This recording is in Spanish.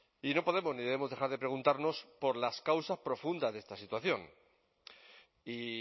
y no podemos ni debemos dejar de preguntarnos por las causas profundas de esta situación y